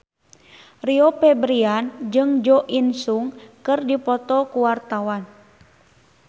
Rio Febrian jeung Jo In Sung keur dipoto ku wartawan